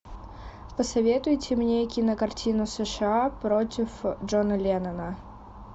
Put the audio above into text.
посоветуйте мне кинокартину сша против джона леннона